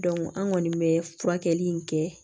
an kɔni bɛ furakɛli in kɛ